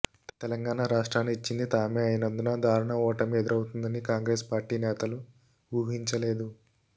తెలంగాణ రాష్ట్రాన్ని ఇచ్చింది తామే అయినందున దారుణ ఓటమి ఎదురవుతుందని కాంగ్రెస్ పార్టీ నేతలు ఊహించలేదు